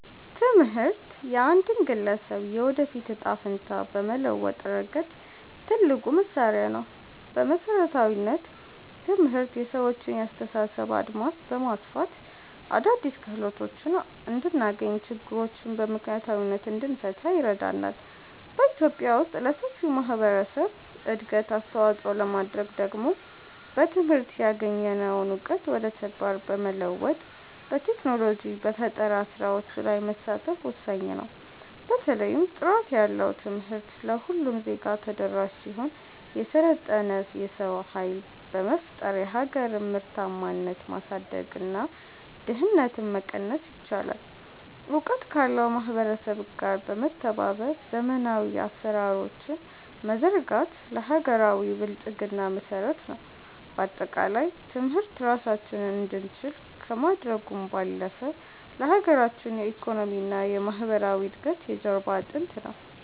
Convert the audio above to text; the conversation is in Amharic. ትምህርት የአንድን ግለሰብ የወደፊት ዕጣ ፈንታ በመለወጥ ረገድ ትልቁ መሣሪያ ነው። በመሠረታዊነት፣ ትምህርት የሰዎችን የአስተሳሰብ አድማስ በማስፋት አዳዲስ ክህሎቶችን እንድናገኝና ችግሮችን በምክንያታዊነት እንድንፈታ ይረዳናል። በኢትዮጵያ ውስጥ ለሰፊው ማኅበረሰብ እድገት አስተዋፅኦ ለማድረግ ደግሞ በትምህርት ያገኘነውን እውቀት ወደ ተግባር በመለወጥ፣ በቴክኖሎጂና በፈጠራ ሥራዎች ላይ መሳተፍ ወሳኝ ነው። በተለይም ጥራት ያለው ትምህርት ለሁሉም ዜጋ ተደራሽ ሲሆን፣ የሰለጠነ የሰው ኃይል በመፍጠር የሀገርን ምርታማነት ማሳደግና ድህነትን መቀነስ ይቻላል። እውቀት ካለው ማኅበረሰብ ጋር በመተባበር ዘመናዊ አሠራሮችን መዘርጋት ለሀገራዊ ብልጽግና መሠረት ነው። በአጠቃላይ፣ ትምህርት ራሳችንን እንድንችል ከማድረጉም ባለፈ፣ ለሀገራችን የኢኮኖሚና የማኅበራዊ እድገት የጀርባ አጥንት ነው።